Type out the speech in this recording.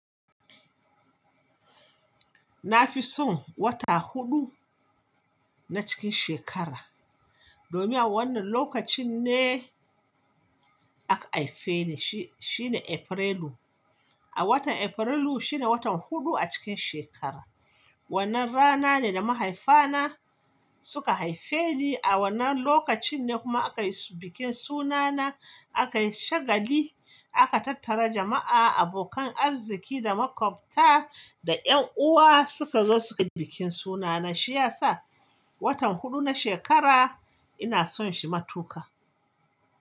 Na fi son wata huɗu na cikin shekara, domin a wannan lokacin ne aka haife ni, shine Afrilu. A watan Afrilu shine watan huɗu a cikin shekara. Wannan rana ne da mahaifana suka haife ni. A wannan lokacin ne kuma aka yi bikin sunana. Aka yi shagali, aka tattara jama'a, abokan arziki da makwabta da ƴan uwa suka zo suka yi bikin sunana. Shi ya sa watan huɗu na shekara ina son shi matuƙa.